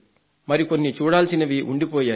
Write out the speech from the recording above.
మరికొన్ని చూడాల్సినవి ఉండిపోయాయి